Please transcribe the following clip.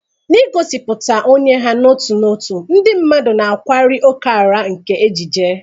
N'igosipụta onye ha n'otu n'otu, ndị mmadụ na-akwali ókèala nke ejiji.